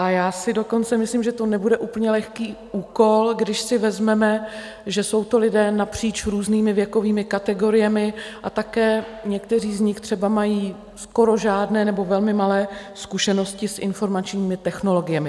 A já si dokonce myslím, že to nebude úplně lehký úkol, když si vezmeme, že jsou to lidé napříč různými věkovými kategoriemi, a také někteří z nich třeba mají skoro žádné nebo velmi malé zkušenosti s informačními technologiemi.